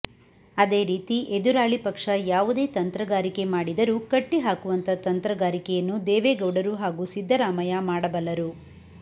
ಅದೇ ರೀತಿ ಎದುರಾಳಿ ಪಕ್ಷ ಯಾವುದೇ ತಂತ್ರಗಾರಿಕೆ ಮಾಡಿದರೂ ಕಟ್ಟಿಹಾಕುವಂತ ತಂತ್ರಗಾರಿಕೆಯನ್ನು ದೇವೇಗೌಡರು ಹಾಗೂ ಸಿದ್ದರಾಮಯ್ಯ ಮಾಡಬಲ್ಲರು